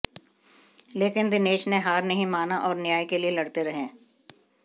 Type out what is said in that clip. लेकिन दिनेश ने हार नहीं माना और न्याय के लिए लड़ते रहे